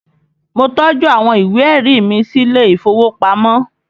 Mo tọ́jú àwọn ìwé ẹ̀rí mi sílé ìfowópamọ́